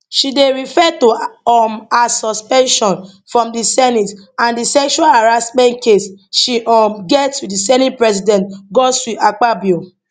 she dey refer to um her suspension from di senate and di sexual harassment case she um get wit di senate president godswill akpabio